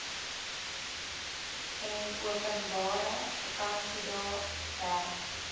enopenbare vakansiedae werk